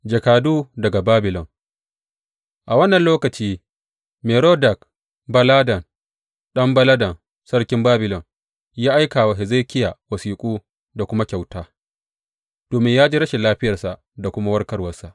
Jakadu daga Babilon A wannan lokaci Merodak Baladan ɗan Baladan sarkin Babilon ya aika wa Hezekiya wasiƙu da kuma kyauta, domin ya ji rashin lafiyarsa da kuma warkarwarsa.